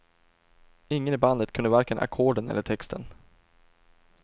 Ingen i bandet kunde varken ackorden eller texten.